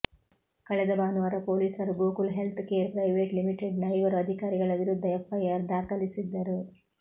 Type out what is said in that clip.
ಕಳೆದ ಭಾನುವಾರ ಪೊಲೀಸರು Gokul health care private limited ನ ಐವರು ಅಧಿಕಾರಿಗಳ ವಿರುದ್ಧ ಎಫ್ಐಆರ್ ದಾಖಲಿಸಿದ್ದರು